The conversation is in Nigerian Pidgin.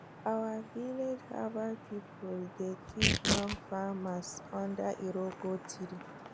our village herbal people dey teach young farmers under iroko tree